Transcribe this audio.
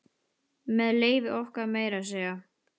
Með leyfi okkar, meira að segja.